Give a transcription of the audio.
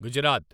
Gujarat